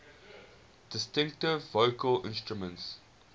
distinctive vocal instrument